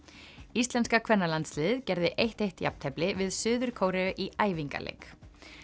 íslenska kvennalandsliðið gerði eitt til eitt jafntefli við Suður Kóreu í æfingaleik